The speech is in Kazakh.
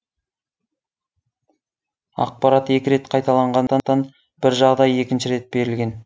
ақпарат екі рет қайталанғандықтан бір жағдай екінші рет берілген